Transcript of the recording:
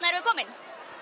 erum við komin